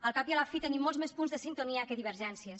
al cap i a la fi tenim molts més punts de sintonia que divergències